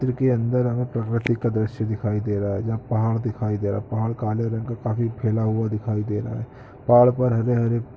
चित्र के अन्दर हमें प्रकृति का दृश्य दिखाई दे रहा है जहाँ पहाड़ दिखाई दे रहा है पहाड़ काले रंग का काफी फैला हुआ दिखाई दे रहा हैं। पहाड़ पर हरे-हरे --